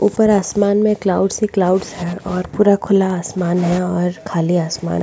ऊपर आसमान में क्लाउड्स ही क्लाउड्स है और पूरा खुला आसमान है और खाली आसमान --